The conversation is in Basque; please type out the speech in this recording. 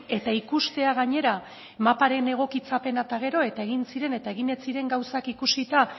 eta ikustea gainera maparen egokitzapena eta gero eta egin ziren eta egin ez ziren gauzak ikusita